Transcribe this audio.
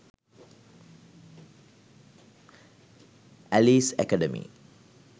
alice academy